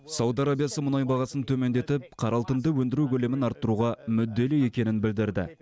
сауд арабиясы мұнай бағасын төмендетіп қара алтынды өндіру көлемін арттыруға мүдделі екенін білдірді